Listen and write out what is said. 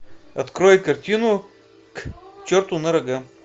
открой картину к черту на рога